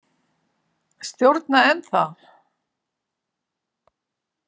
Stjórna ennþá.